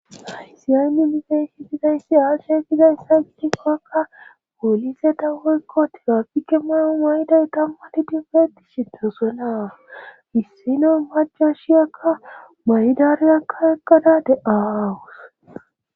Aysiy aynni mifey higizayssi asheekizayssa gitikkokka wolize dawwoykko tilafike mayo mayday tammati dinfeeti shitosuena hissino maco shiyakka maydariyakka eqqada de7aawus.